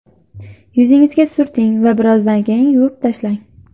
Yuzingizga surting va birozdan keyin yuvib tashlang.